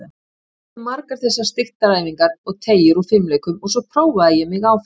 Ég þekkti margar þessar styrktaræfingar og teygjur úr fimleikunum og svo prófaði ég mig áfram.